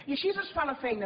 i així es fa la feina